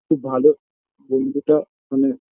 খুব ভালো বন্ধুটা মানে